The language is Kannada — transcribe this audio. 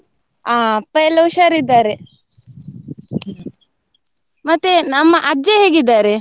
ಆ ಅಪ್ಪಯೆಲ್ಲ ಹುಷಾರಿದ್ದಾರೆ, ಮತ್ತೆ ನಮ್ಮ ಅಜ್ಜ ಹೇಗಿದ್ದಾರೆ?